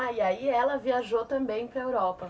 Ah, e aí ela viajou também para a Europa.